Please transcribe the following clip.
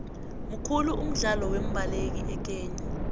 mukhulu umdlalo wembaleki ekhenya